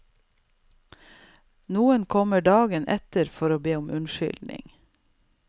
Noen kommer dagen etter for å be om unnskyldning.